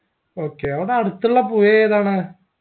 okay അവിടെ അടുത്തുള്ള പുയ ഏതാണ്